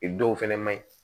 I dɔw fɛnɛ ma ɲi